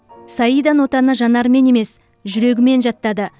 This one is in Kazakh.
саида нотаны жанарымен емес жүрегімен жаттады